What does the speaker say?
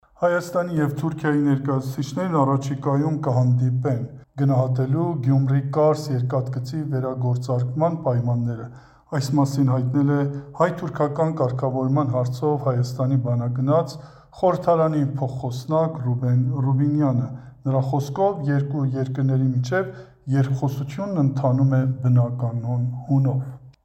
Հայաստանի և Թուրքիայի ներկայացուցիչներն առաջիկայում կհանդիպեն՝ գնահատելու Գյումրի-Կարս երկաթգծի վերագործարկման պայմանները։ Այս մասին հայտնել է հայ-թուրքական կարգավորման հարցով Հայաստանի բանագնաց, խորհրդարանի փոխխոսնակ Ռուբեն Ռուբինյանը։ Նրա խոսքով՝ երկու երկրների միջև երկխոսությունն ընթանում է բնականոն հունով։